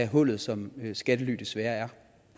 hullet som skattely desværre er